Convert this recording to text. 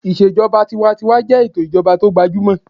Ìṣèjọba tinwatinwa jẹ́ ètò ìjọba tó gbajúmọ̀